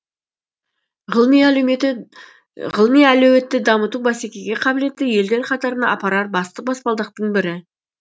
ғылыми әлеуетті дамыту бәсекеге қабілетті елдер қатарына апарар басты баспалдақтың бірі